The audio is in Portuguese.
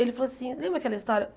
Ele falou assim, lembra aquela história?